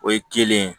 O ye kelen ye